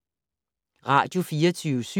Radio24syv